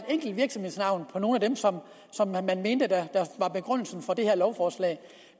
enkelt virksomhedsnavn af nogle af dem som man mente var begrundelsen for det her lovforslag